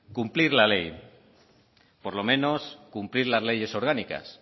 cumplir la ley por lo menos cumplir las leyes orgánicas